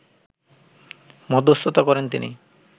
মধ্যস্থতা করেন তিনি